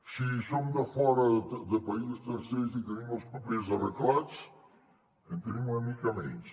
si som de fora de països tercers i tenim els papers arreglats en tenim una mica menys